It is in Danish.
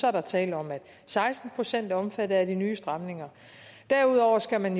er der tale om at seksten procent er omfattet af de nye stramninger derudover skal man